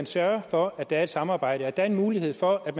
sørge for at der er et samarbejde og at der er en mulighed for at